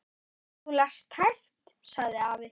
Þú lest hægt, sagði afi.